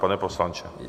Pane poslanče?